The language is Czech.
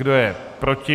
Kdo je proti?